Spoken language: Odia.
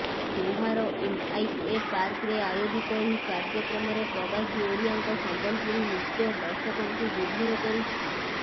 ଦୋହାର ଏମଆଇଏ ପାର୍କରେ ଆୟୋଜିତ ଏହି କାର୍ଯ୍ୟକ୍ରମରେ ପ୍ରବାସୀ ଓଡିଆଙ୍କ ସମ୍ବଲପୁରୀ ନୃତ୍ୟ ଦର୍ଶକଙ୍କୁ ବିଭୋର କରିଛି